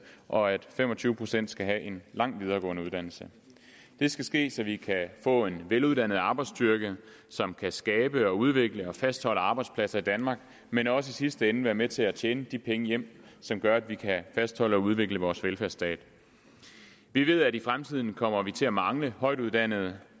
og at fem og tyve procent skal have en lang videregående uddannelse det skal ske så vi kan få en veluddannet arbejdsstyrke som kan skabe og udvikle og fastholde arbejdspladser i danmark men også i sidste ende være med til at tjene de penge hjem som gør at vi kan fastholde og udvikle vores velfærdsstat vi ved at i fremtiden kommer vi til at mangle højtuddannede